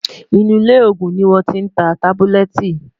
inú ilé ògún ní wón tí n tá tábúlẹ́tì